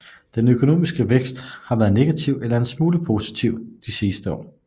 Den økonomiske vækst har været negativ eller en smule positiv de sidste år